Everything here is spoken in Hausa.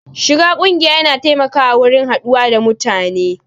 Shiga ƙungiya ya na taimakawa wurin haɗuwa da mutane